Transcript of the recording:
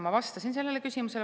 Ma vastasin sellele küsimusele.